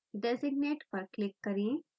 designate पर click करें